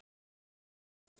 Nei, svo sem ekki.